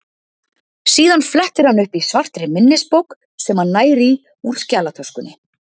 Síðan flettir hann upp í svartri minnisbók sem hann nær í úr skjalatöskunni.